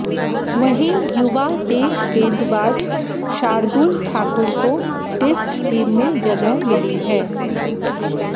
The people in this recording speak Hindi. वहीं युवा तेज गेंजबाज शार्दूल ठाकुर को टेस्ट टीम में जगह मिली है